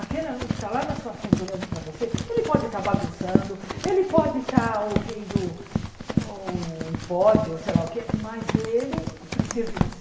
Aquele aluno que está lá na sua frente olhando para você, ele pode estar bagunçando, ele pode estar ouvindo, o ih pod, ou sei lá o que, mas ele precisa de você.